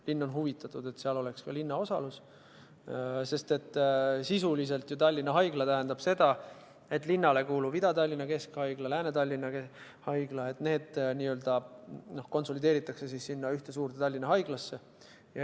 Linn on huvitatud, et seal oleks ka tema osalus olemas, sest sisuliselt tähendab ju Tallinna Haigla seda, et linnale kuuluv Ida-Tallinna Keskhaigla ja Lääne-Tallinna Keskhaigla konsolideeritakse üheks suureks Tallinna Haiglaks.